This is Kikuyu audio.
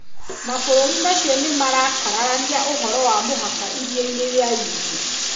Mabũrũri macio nĩ mara kararania ũhoro wa mũhaka Iria-inĩ rĩa India.